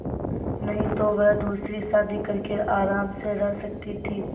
नहीं तो वह दूसरी शादी करके आराम से रह सकती थ